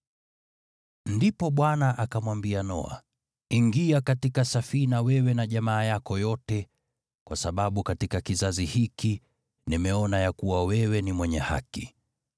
Ndipo Bwana akamwambia Noa, “Ingia katika safina wewe na jamaa yako yote, kwa sababu katika kizazi hiki nimeona ya kuwa wewe ni mwenye haki.